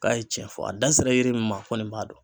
K'a ye cɛn fɔ a da sera yiri min ma nin b'a dɔn.